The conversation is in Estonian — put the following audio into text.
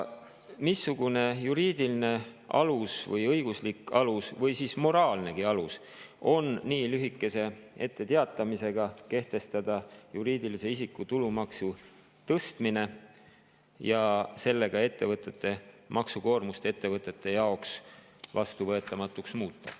Missugune on juriidiline, õiguslik või moraalne alus juriidilise isiku tulumaksu tõstmise kehtestamiseks nii lühikese etteteatamisajaga ja sellega ettevõtete maksukoormuse muutmiseks nende jaoks vastuvõetamatuks?